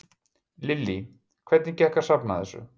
Lillý: Hvernig gekk að safna þessu?